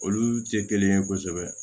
Olu tɛ kelen ye kosɛbɛ